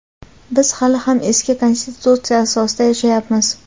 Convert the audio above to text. biz hali ham eski Konstitutsiya asosida yashayapmiz.